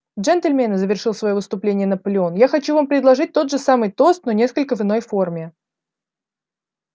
джентльмены завершил своё выступление наполеон я хочу вам предложить тот же самый тост но несколько в иной форме